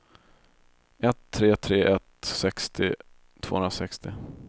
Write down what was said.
ett tre tre ett sextio tvåhundrasextio